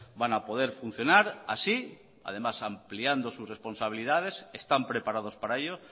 van a poder funcionar así además ampliando sus responsabilidades están preparados para ello